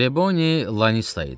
Triboni Lanista idi.